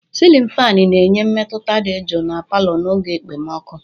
Silin fanị na-enye mmetụta dị jụụ na palọ n'oge ekpomọkụ.